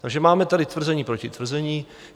Takže máme tady tvrzení proti tvrzení.